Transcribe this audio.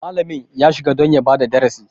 Malami ya shiga don ya bada darasi.